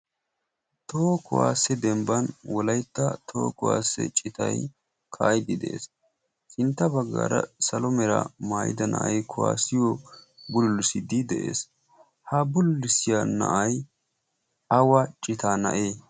Toho kuwaassiyaa dembban wolaytta toho kuwaassiyaa citay kaa'idi de'ees. Sintta baggaara salo mera maayida na'aay kuwaasiyo bullisiddi de'ees. Ha bullissiyaa na'aay awa citaa na'ee?